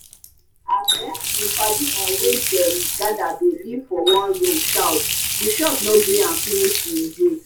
as um him padi um wey dem gather dey live for one room shout the shock no gree am finish him breathe